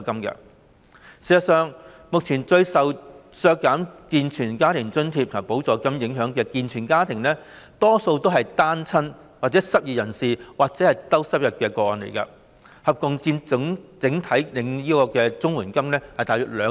事實上，目前最受削減健全家庭津貼和補助金影響的健全家庭，大多數也是單親、失業人士或低收入的個案，合共佔整體綜援個案約兩成。